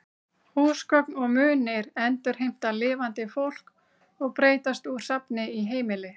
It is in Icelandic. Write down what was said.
Húsgögn og munir endurheimta lifandi fólk og breytast úr safni í heimili.